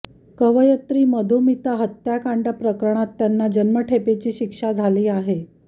कवयत्री मधुमिता हत्याकांड प्रकरणात त्यांना जन्मठेपेची शिक्षा झाली आहे